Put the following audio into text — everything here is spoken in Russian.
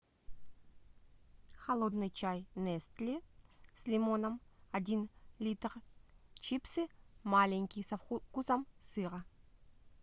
холодный чай нестле с лимоном один литр чипсы маленькие со вкусом сыра